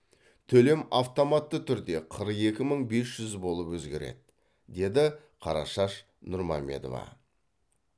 төлем автоматты түрде қырық екі мың бес жүз болып өзгереді деді қарашаш нұрмамедова